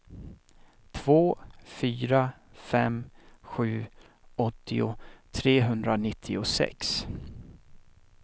två fyra fem sju åttio trehundranittiosex